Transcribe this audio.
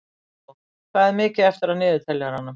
Markó, hvað er mikið eftir af niðurteljaranum?